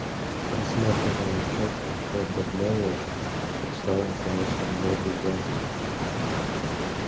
просматривая отчёты хобер мэллоу устало заложил ногу за ногу